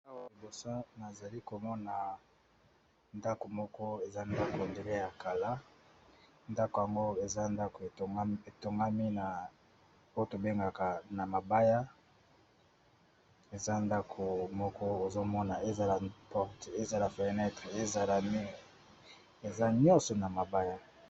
Liboso na ngai awa nazali komona ndaku, ndaku yango batongi yango na mabaya